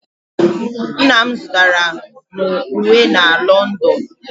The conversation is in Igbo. Nna m zụtara m uwe na London.